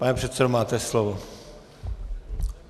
Pane předsedo, máte slovo.